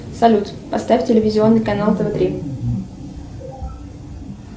салют поставь телевизионный канал тв три